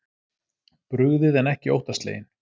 Brugðið en ekki óttasleginn